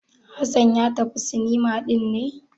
Hassan ya tafi cinema ɗin ne?